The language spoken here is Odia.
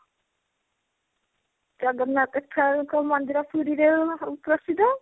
ଜଗନ୍ନାଥ ଦେଖିଲ ବେଳକୁ ମନ୍ଦିର ପୁରୀ ରେ ପ୍ରସିଦ୍ଧ